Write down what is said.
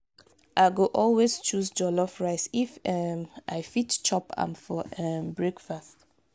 i go always choose jollof rice if um i fit chop am for um breakfast.